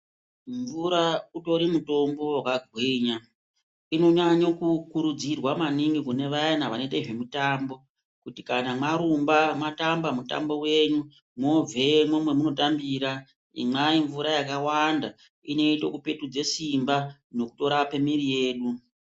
Mvura utori mutombo wakagwinya. Inonyanyo kukurudzirwa maningi kune vayana vanoite zvemitambo, kuti kana mwarumba, mwatamba mutambo wenyu, mwoobvemwo mwemunotambira, imwai mvura yakawanda ,inoite kupetudze simba nekutorape mwiri yenyu.